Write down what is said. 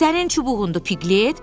Sənin çubuğundur, Piglet?